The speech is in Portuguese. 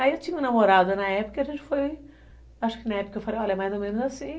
Aí eu tinha uma namorado na época, a gente foi, acho que na época eu falei, olha, é mais ou menos assim.